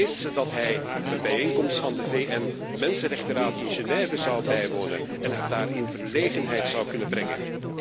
Vreest ze dat hij een bijeenkomst van de VN Mensenrechtenraad in Génève zou bijwonen en haar daar in verlegenheid zou kunnen brengen?